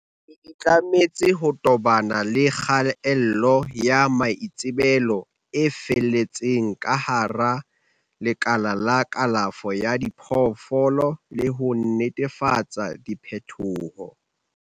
le itlametse ho tobana le kgaello ya maitsebelo e fetelletseng ka hara lekala la kalafo ya diphoofolo le ho netefatsa diphethoho.